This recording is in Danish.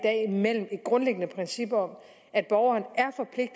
grundlæggende princip om at borgeren